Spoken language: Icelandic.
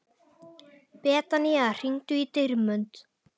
Betanía, hringdu í Dýrmund.